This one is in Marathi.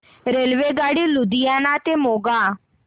रेल्वेगाडी लुधियाना ते मोगा